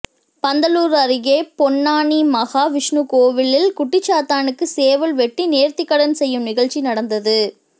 பந்தலூர் அருகே பொன்னானி மகா விஷ்ணு கோவிலில் குட்டிச்சாத்தானுக்கு சேவல் வெட்டி நேர்த்திக்கடன் செய்யும் நிகழ்ச்சி நடந்தது